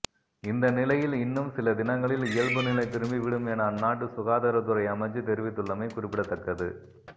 இந்தநிலையில் இன்னும் சில தினங்களில் இயல்பு நிலை திரும்பி விடும் என அந்நாட்டு சுகாதார துறை அமைச்சு தெரிவித்துள்ளமை குறிப்பிடத்தக்கது